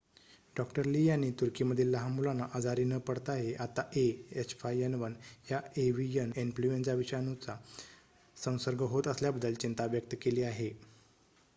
डॉ. Lee यांनी तुर्कीमधील लहान मुलांना आजारी न पडताही आता ah5n1 या एव्हीयन इन्फ्लूएन्झा विषाणूचा संसर्ग होत असल्याबद्दल चिंता व्यक्त केली आहे